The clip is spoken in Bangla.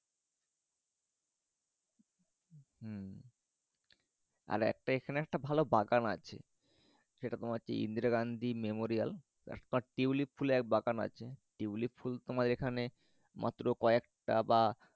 হম আর এখানে একটা ভালো বাগান আছে সেটা তোমার হচ্ছে ইন্দিরা গান্ধী মেমোরিয়াল তারপর টিউলিপ ফুলের এক বাগান আছে টিউলিপ ফুল তোমার এখানে মাত্র কয়েকটা বা